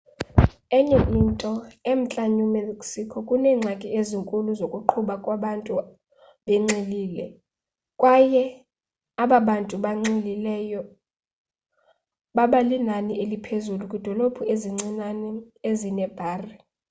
enye into emntla new mexico kuneengxaki ezinkulu zokuqhuba kwabantu benxilile kwaye aba bantu banxilileyo baba linani eliphezulu kwiidolophu ezincinane ezineebhari